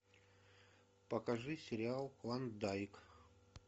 покажи сериал клондайк